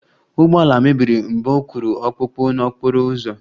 Ụgbọala mebiri mgbe ọ kụrụ ọkpụkpụ n'okporo ụzọ